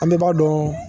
An bɛɛ b'a dɔn